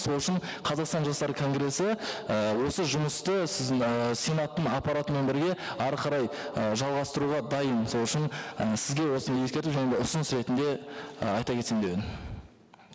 сол үшін қазақстан жастары конгрессі і осы жұмысты сіздің ыыы сенаттың аппаратымен бірге әрі қарай ы жалғастыруға дайын сол үшін і сізге осыны ескерту және ұсыныс ретінде і айта кетсем деп едім